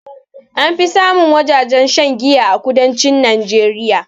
Anfi samun wajajen shan giya a kudancin najeriya